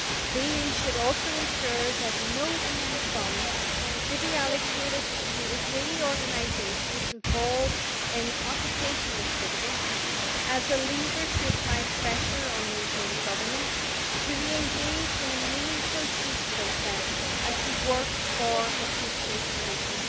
The EU should also ensure that no EU funds are allocated to Israeli organisations involved in occupation activities, as a lever to apply pressure on the Israeli Government to re engage in a meaningful peace process and to work for a two state solution.